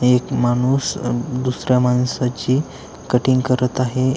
एक माणूस दुसऱ्या माणसाची कटिंग करत आहे.